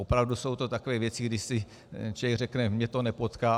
Opravdu jsou to takové věci, kdy si člověk řekne - mě to nepotká.